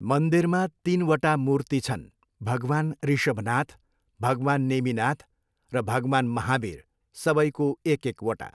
मन्दिरमा तिनवटा मूर्ति छन्, भगवान् ऋषभनाथ, भगवान् नेमिनाथ र भगवान् महावीर, सबैको एक एकवटा।